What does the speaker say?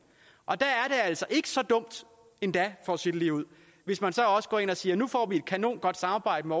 og der er det altså ikke så dumt endda for at sige det ligeud hvis man så også går ind og siger at nu får vi et kanongodt samarbejde